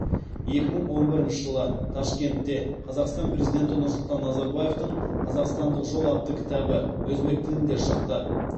екі мың он бірінші жылы ташкентте қазақстан президенті нұрсұлтан назарбаевтың қазақстандық жол атты кітабы өзбек тілінде шықты